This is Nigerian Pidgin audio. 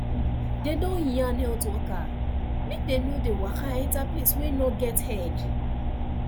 dem don yarn health worker make dem nor dey waka enter place wey nor get head